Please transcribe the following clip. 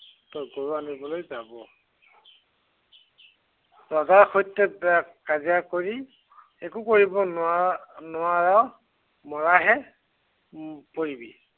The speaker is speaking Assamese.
তই গৰু আনিবলৈ যাব। ৰজাৰ সৈতে কা~কাজিয়া কৰি একো কৰিব নোৱা~নোৱাৰ। মৰাহে উম পৰিবি।